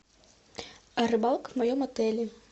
рыбалка в моем отеле